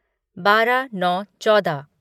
बारह नौ चौदह